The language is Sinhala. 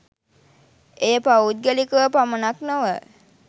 එය පෞද්ගලිකව පමණක් නොව